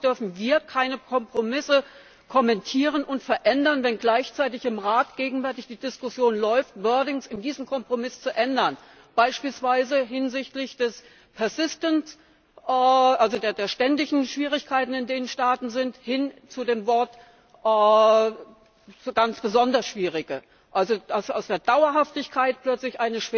Und warum dürfen wir keine Kompromisse kommentieren und verändern, wenn gleichzeitig im Rat gegenwärtig die Diskussion läuft, wordings zu diesem Kompromiss zu ändern beispielsweise hinsichtlich des persistent also der ständigen Schwierigkeiten in den Staaten hin zu dem Wort ganz besonders schwierige, wenn also aus der Dauerhaftigkeit plötzlich